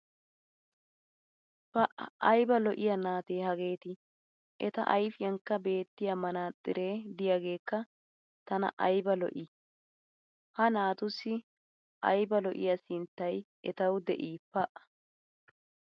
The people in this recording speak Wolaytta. pa aybba lo'iya naatee hageeti. Eta ayfiyankka beetiya manaaxxiree diyageekka tana aybba lo'ii! Ha naatussi aybba lo'iya sinttay etawu de'ii pa!